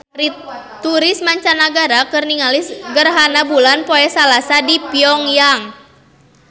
Turis mancanagara keur ningali gerhana bulan poe Salasa di Pyong Yang